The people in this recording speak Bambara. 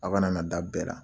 Aw kana na da bɛɛ la.